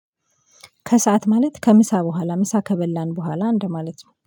ከሰአት ማለት ከምሳ በኋላ ምሳ ከበላን በኋላ እንደማለት ነው